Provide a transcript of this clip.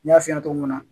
N y'a f'i ɲɛna cogo min na